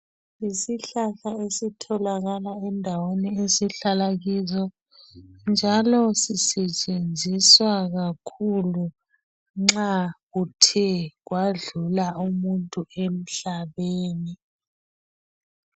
Yisihlahla esitholakala endaweni ezihlala kizo njalo sisetshenziswa kakhulu nxa kuthe kwadlula umuntu emhlabeni.